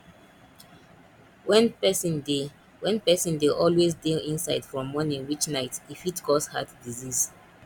when person dey when person dey always dey inside from morning reach night e fit cause heart disease